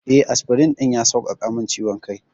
Eh, asfirin ɗin ya sauƙaƙa min ciwon kai.